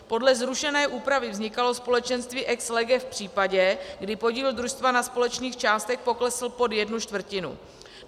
Podle zrušené úpravy vznikalo společenství ex lege v případě, kdy podíl družstva na společných částech poklesl pod jednu čtvrtinu.